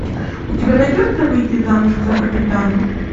у тебя найдется выйти замуж за капитана